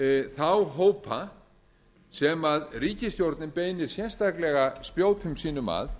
þá hópa sem ríkisstjórnin beinir sérstaklega spjótum sínum að